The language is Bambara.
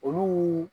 Olu